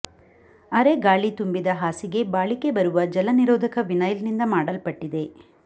ಅರೆ ಗಾಳಿ ತುಂಬಿದ ಹಾಸಿಗೆ ಬಾಳಿಕೆ ಬರುವ ಜಲನಿರೋಧಕ ವಿನೈಲ್ನಿಂದ ಮಾಡಲ್ಪಟ್ಟಿದೆ